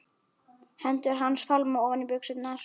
Hendur hans fálma ofan í buxurnar.